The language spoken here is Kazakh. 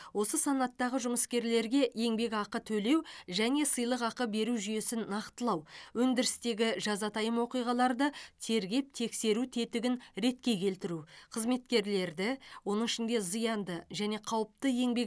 осы санаттағы жұмыскерлерге еңбекақы төлеу және сыйлықақы беру жүйесін нақтылау өндірістегі жазатайым оқиғаларды тергеп тексеру тетігін ретке келтіру қызметкерлерді оның ішінде зиянды және қауіпті еңбек